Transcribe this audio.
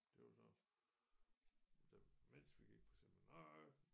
Det var sådan da mens vi gik på seminariet